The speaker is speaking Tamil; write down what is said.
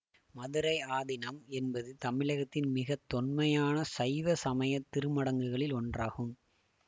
மதுரை ஆதீனம் என்பது தமிழகத்தின் மிக தொன்மையான சைவ சமய திருமடங்களில் ஒன்றாகும்